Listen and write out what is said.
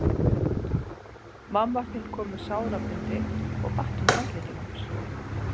Mamma þín kom með sárabindi og batt um handlegginn á mér.